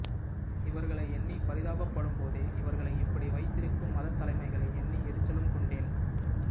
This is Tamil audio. இவர்களை எண்ணி பரிதாபப்படும்போதெ இவர்களை இப்படி வைத்திருக்கும் மதத்தலைமைகளை எண்ணி எரிச்சலும் கொண்டேன்